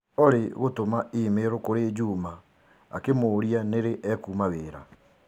Olly gũtũma i-mīrū kũrĩ Juma akĩmũria nĩrĩ ekũma wĩra